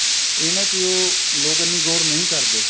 ਇਹਨਾ ਚ ਉਹ ਲੋਕ ਇੰਨੀ ਗੋਰ ਨਹੀਂ ਕਰਦੇ